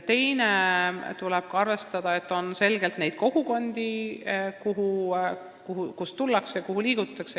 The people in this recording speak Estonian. Teiseks tuleb arvestada, et on selgelt selliseid kogukondi, kust tullakse ja kuhu liigutakse.